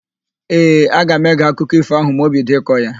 Ee, aga m ege akụkọ ífò ahụ ma o bido ịkọ ya.